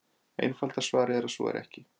Einfalda svarið er að svo er ekki.